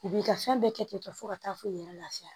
I b'i ka fɛn bɛɛ kɛ ten tɔ ka taa fo i yɛrɛ lafiya